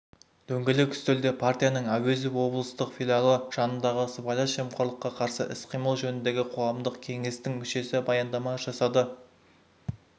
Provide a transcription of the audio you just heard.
дөңгелек үстелде партияның әуезов облыстық филиалы жанындағы сыбайлас жемқорлыққа қарсы іс-қимыл жөніндегі қоғамдық кеңестің мүшесі баяндама жасады